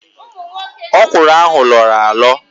Ókwụ̀rụ̀ ahụ lọọrọ alọ